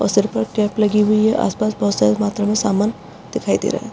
और सर पर टेप लगी हुई है आस-पास बहुत सारी मात्रा में समान दिखाई दे रहा है।